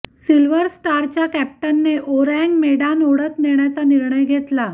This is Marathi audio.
सिल्व्हर स्टारच्या कॅप्टनने ओरँग मेडान ओढत नेण्याचा निर्णय घेतला